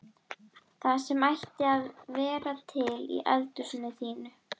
Það sem ætti alltaf að vera til í eldhúsinu þínu!